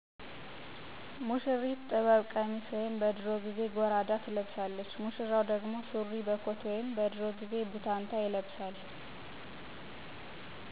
ሙሽሪት ጥበብ ቀሚስ ወይም በድሮ ጊዜ ጎራዳ ትለብሳለች። ሙሽራው ደግሞ ሱሪ በኮት ወይም በድሮ ጊዜ ቡታንታ ይለብሳል።